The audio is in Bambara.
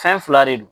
Fɛn fila de don